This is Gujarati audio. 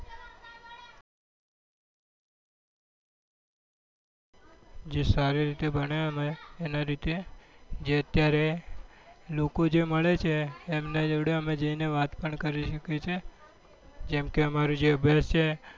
જે સારી રીતે ભણ્યા અમે એના રીતે જે અત્યારે લોકો જે મળે છે એમના જોડે અમે જઈ ને વાત પણ કરી શકીએ છીએ જેમ કે અમારો જે અભ્યાસ છે